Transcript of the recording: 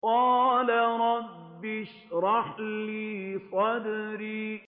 قَالَ رَبِّ اشْرَحْ لِي صَدْرِي